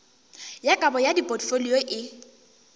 ya kabo ya dipotfolio e